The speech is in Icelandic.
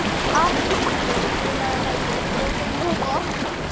Arngrímur, spilaðu lagið „Brotin loforð“.